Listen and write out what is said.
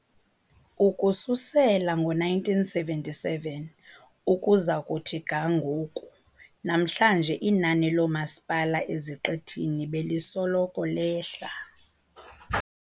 Ukususela ngo-1977 ukuza kuthi ga namhlanje inani loomasipala eziqithini belisoloko lehla.